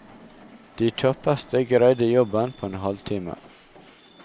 De kjappeste greide jobben på en halvtime.